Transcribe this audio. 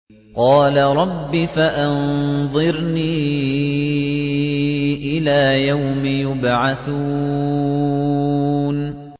قَالَ رَبِّ فَأَنظِرْنِي إِلَىٰ يَوْمِ يُبْعَثُونَ